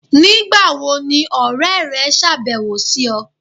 Nígbà wo ni ọ̀rẹ̀ rẹ̀ ṣáàbẹ̀wò sí ọ̀?